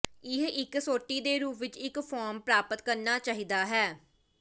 ਇਹ ਇੱਕ ਸੋਟੀ ਦੇ ਰੂਪ ਵਿੱਚ ਇੱਕ ਫਾਰਮ ਪ੍ਰਾਪਤ ਕਰਨਾ ਚਾਹੀਦਾ ਹੈ